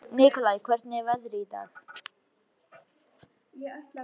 Nikolai, hvernig er veðrið í dag?